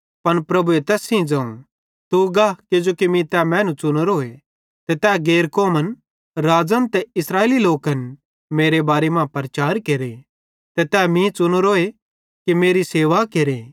पन प्रभुए तैस सेइं ज़ोवं तू गा किजोकि मीं तै मैनू च़ुनोरोए कि तै गैर कौमन राज़न ते इस्राएलेरे लोकन मेरे बारे मां प्रचार केरे ते तै मीं च़ुनोरोए कि तै मेरी सेवा केरे